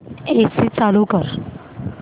AC चालू कर